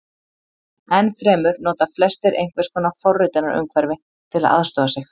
Enn fremur nota flestir einhvers konar forritunarumhverfi til að aðstoða sig.